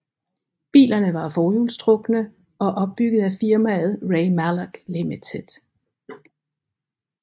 Bilerne var forhjulstrukne og opbygget af firmaet Ray Mallock Limited